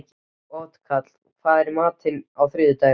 Otkatla, hvað er í matinn á þriðjudaginn?